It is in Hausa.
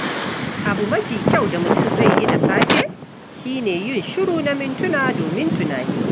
Abu mafi kyau da mutum zai yi da safe shi ne yin shiru na mintuna domin tunani.